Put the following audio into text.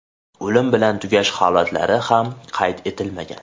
O‘lim bilan tugash holatlari ham qayd etilmagan.